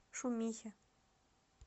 шумихе